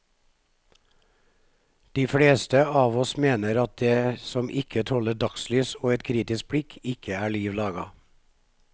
De fleste av oss mener at det som ikke tåler dagslys og et kritisk blikk, ikke er liv laga.